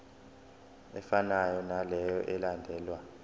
efanayo naleyo eyalandelwa